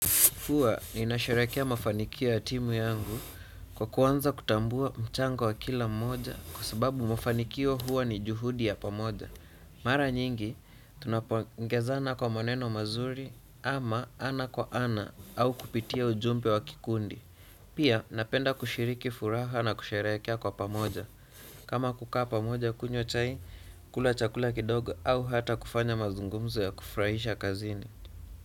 Fuwa niinasherehekea mafanikio ya timu yangu kwa kwanza kutambua mchango wa kila mmoja kwa sababu mafanikio huwa ni juhudi ya pamoja. Mara nyingi, tunapo ongezana kwa maneno mazuri ama ana kwa ana au kupitia ujumbe wa kikundi. Pia napenda kushiriki furaha na kusharekia kwa pamoja. Kama kukaa pamoja kunywa chai, kula chakula kidogo au hata kufanya mazungumzo ya kufurahisha kazini.